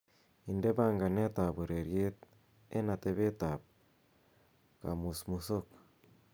inde panganet ab ureryet en atebet ab komusmusok